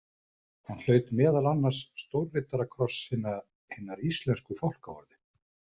Hann hlaut meðal annars stórriddarakross hinnar íslensku fálkaorðu.